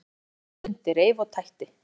Hún blés og stundi, reif og tætti.